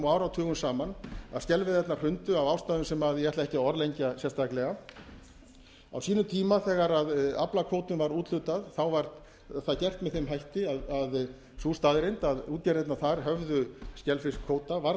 áratugum saman að skelveiðarnar hrundu af ástæðum sem ég ætla ekki að orðlengja sérstaklega á sínum tíma þegar aflakvóta var úthlutað var það gert með þeim hætti að sú staðreynd að útgerðirnar þar höfðu skelfiskkvóta varð